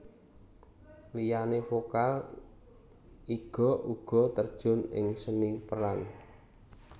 Liyane vokal Iga uga terjun ing seni peran